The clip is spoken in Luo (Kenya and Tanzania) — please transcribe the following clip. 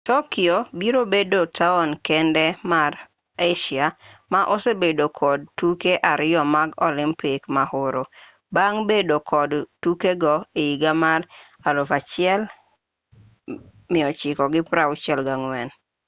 tokyo biro bedo taon kende mar asia ma osebedo kod tuke ariyo mag olimpik mahoro bang' bedo kod tukego higa mar 1964